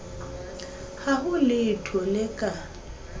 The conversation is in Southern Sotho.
ha ho letho le ka